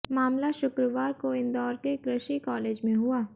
मामला शुक्रवार को इंदौर के कृषि कॉलेज में हुआ